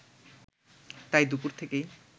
তাই দুপুর থেকেই